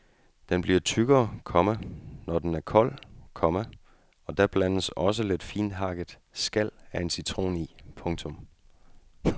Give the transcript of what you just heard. Den bliver tykkere, komma når den er kold, komma og da blandes også lidt finthakkt skal af en citron i. punktum